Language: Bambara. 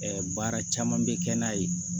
Ɛɛ baara caman bɛ kɛ n'a ye